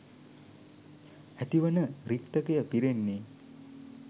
ඇතිවන රික්තකය පිරෙන්නේ